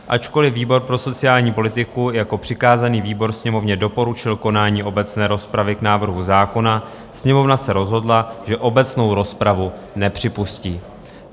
Ačkoliv výbor pro sociální politiku jako přikázaný výbor Sněmovně doporučil konání obecné rozpravy k návrhu zákona, Sněmovna se rozhodla, že obecnou rozpravu nepřipustí."